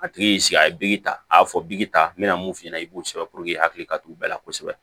A tigi y'i sigi a ye biki ta a y'a fɔ bi ta n bɛna mun f'i ɲɛna i b'o sɛbɛn i hakili ka t'u bɛɛ la kosɛbɛ